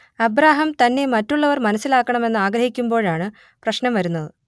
Abraham തന്നെ മറ്റുള്ളവർ മനസ്സിലാക്കണമെന്ന് ആഗ്രഹിക്കുമ്പോഴാണ് പ്രശ്നം വരുന്നത്